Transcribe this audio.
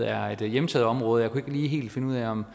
er et hjemtaget område og ikke helt finde ud af om